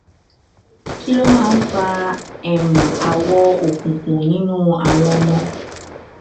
kí ló máa máa ń fa um awọ òkùnkùn nínú àwọn ọmọ